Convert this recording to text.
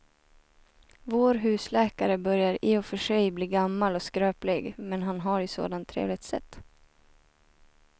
Vår husläkare börjar i och för sig bli gammal och skröplig, men han har ju ett sådant trevligt sätt!